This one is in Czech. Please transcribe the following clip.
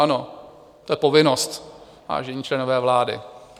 Ano, to je povinnost, vážení členové vlády.